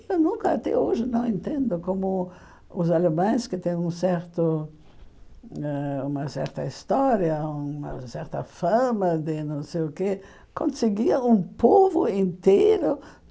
Eu nunca até hoje não entendo como os alemães, que têm um certo ãh uma certa história, uma certa fama de não sei o quê, conseguir um povo inteiro.